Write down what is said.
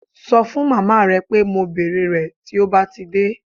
Ṣọ fún màmá rẹ pé mo bèrè rẹ̀ tí ó bá ti dé